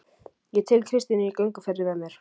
Og tek Kristínu í gönguferðir með mér